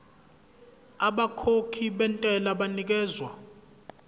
abakhokhi bentela banikezwa